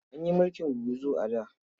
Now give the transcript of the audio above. An yi mulkin gurguzu a da.